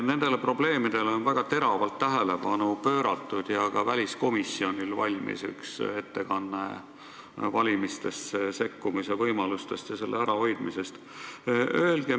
Nendele probleemidele on väga teravat tähelepanu pööratud ja ka väliskomisjonil valmis üks ettekanne valimistesse sekkumise võimalustest ja selle ärahoidmisest.